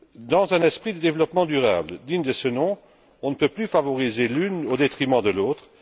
Dans un esprit de développement durable digne de ce nom, on ne peut plus favoriser l'une au détriment de l'autre.